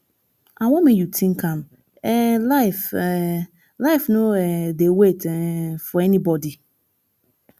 i wan make you think am um life um life no um dey wait um for anybody